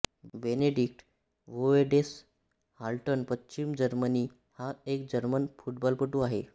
Benedict Höwedes Haltern पश्चिम Germany हा एक जर्मन फुटबॉलपटू आहे